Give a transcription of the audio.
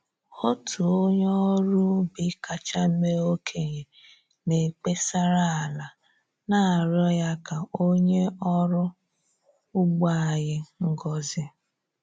Otu onye ọrụ ubi kacha mee okenye na-ekpesara ala, na-arịọ ya ka o nye ọrụ ugbo anyị ngozị